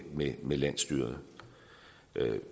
med med landsstyret